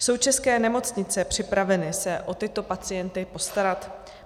Jsou české nemocnice připraveny se o tyto pacienty postarat?